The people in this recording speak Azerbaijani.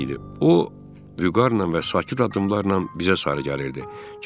O, vüqarla və sakit addımlarla bizə sarı gəlirdi.